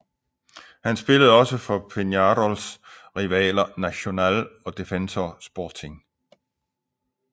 Han spillede også for Peñarols rivaler Nacional og Defensor Sporting